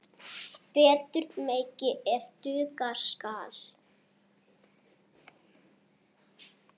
Betur megi ef duga skal.